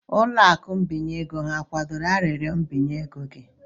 Ụlọ akụ ịgbazinye ego ha kwadoro arịrịọ mbinye ego gị?